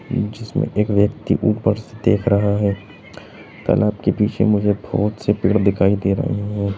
जिसमें एक व्यक्ति ऊपर से देख रहा है तालाब के पीछे मुझे बहुत से पेड़ दिखाई दे रहे हैं ।